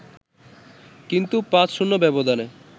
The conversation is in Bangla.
কিন্তু ৫-০ ব্যবধানে